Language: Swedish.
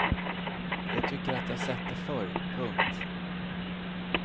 Jag tycker att jag sett det förr. punkt